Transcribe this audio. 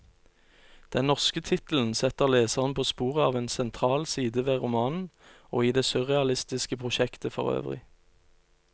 Den norske tittelen setter leseren på sporet av en sentral side ved romanen, og i det surrealistiske prosjektet forøvrig.